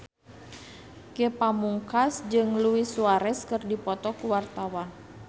Ge Pamungkas jeung Luis Suarez keur dipoto ku wartawan